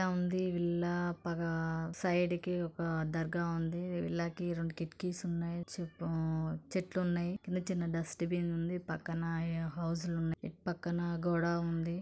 Villa ఉంది. ఒక villa పగ సైడ్ కి ఒక దర్గా ఉంది. ఇళ్ళకి రెండు కిటికీస్ ఉన్నాయి. చుట్టూ చెట్లు ఉన్నాయి. చిన్న చిన్న డస్ట్ బిన్ ఉంది. పక్కన ఇ హౌస్ లు ఉన్నాయి. ఇటు పక్కన గోడ ఉంది.